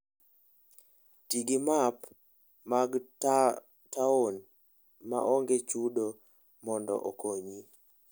Ti gi app mag taon ma onge chudo mondo okonyi.